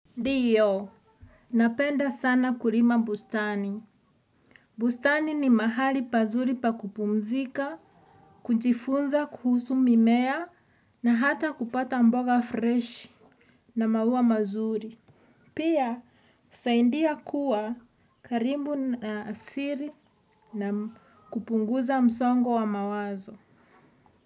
Ndiyo, napenda sana kurima bustani. Bustani ni mahali pazuri pakupumzika, kujifunza, kuhusu mimea, na hata kupata mboga fresh na maua mazuri. Pia, saindia kuwa karimbu na siri na kupunguza msongo wa mawazo.